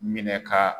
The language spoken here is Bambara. Minɛ ka